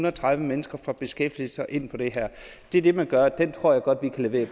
og tredive mennesker fra beskæftigelse og ind på det her det er det man gør og den tror jeg godt vi kan levere